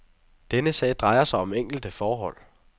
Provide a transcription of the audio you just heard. Denne sag drejer sig om enkelte forhold.